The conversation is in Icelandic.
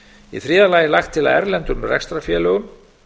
í þriðja lagi er lagt til að erlendum rekstrarfélögum